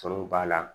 Tɔn b'a la